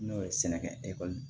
N'o ye sɛnɛkɛ ekɔli